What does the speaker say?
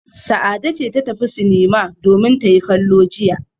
Sa'ade ce ta tafi sinima domin ta yi kallo jiya.